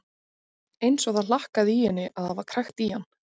Eins og það hlakkaði í henni að hafa krækt í hann.